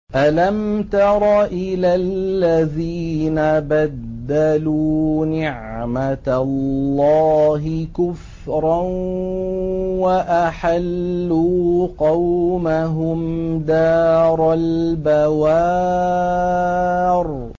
۞ أَلَمْ تَرَ إِلَى الَّذِينَ بَدَّلُوا نِعْمَتَ اللَّهِ كُفْرًا وَأَحَلُّوا قَوْمَهُمْ دَارَ الْبَوَارِ